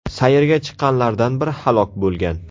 Sayrga chiqqanlardan biri halok bo‘lgan.